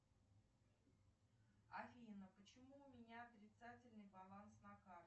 афина почему у меня отрицательный баланс на карте